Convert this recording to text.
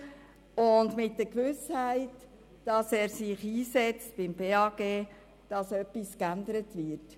Daher ziehen wir die Motion mit der Gewissheit zurück, dass sich der Regierungsrat beim BAG einsetzt, damit etwas geändert wird.